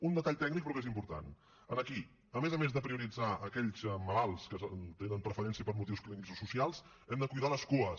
un detall tècnic però que és important aquí a més a més de prioritzar aquells malalts que tenen preferència per motius clínics o socials hem de cuidar les cues